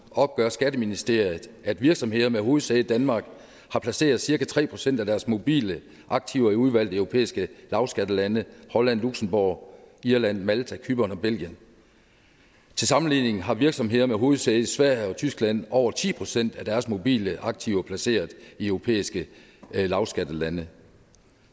opgør skatteministeriet at virksomheder med hovedsæde i danmark har placeret cirka tre procent af deres mobile aktiver i udvalgte europæiske lavskattelande holland luxembourg irland malta cypern og belgien til sammenligning har virksomheder med hovedsæde i sverige og tyskland over ti procent af deres mobile aktiver placeret i europæiske lavskattelande